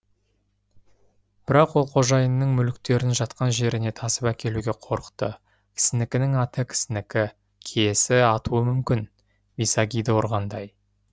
бірақ ол қожайынның мүліктерін жатқан жеріне тасып әкелуге қорықты кісінікінің аты кісінікі киесі атуы мүмкін висагиді ұрғандай